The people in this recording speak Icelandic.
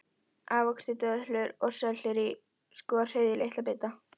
Ávextir, döðlur og sellerí skorið í litla bita.